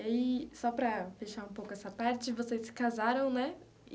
E aí, só para fechar um pouco essa parte, vocês se casaram, né?